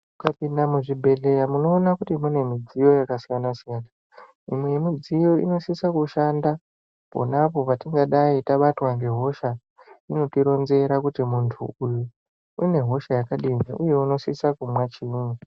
Mukapinda muzvibhedhleya, munoona kuti mune midziyo yakasiyana-siyana. Imwe yemidziyo inosisa kushanda, pona apo patingadai tabatwa ngehosha. Inotironzera kuti muntu uyu, une hosha yakadini ,uye unosisa kumwa chiini.